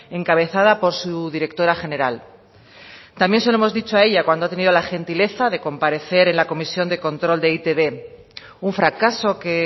encabezada por su directora general también se lo hemos dicho a ella cuando ha tenido la gentiliza de comparecer en la comisión de control de e i te be un fracaso que